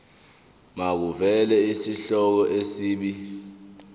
makuvele isihloko isib